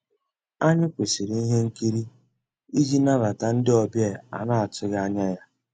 Ànyị́ kwụ́sị́rí íhé nkírí ìjì nabàtà ndị́ ọ̀bịá á ná-àtụ́ghị́ ànyá yá.